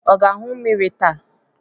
Ọ ga-aṅụ mmiri taa?